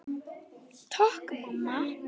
Takk mamma.